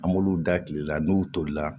An b'olu da kile la n'u tolila